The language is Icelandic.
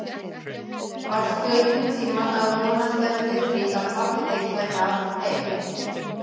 Varstu einhvern tíma að vonast eftir því að pabbi þinn kæmi heim aftur?